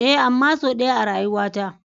Ee. amma sau ɗaya a rayuwata.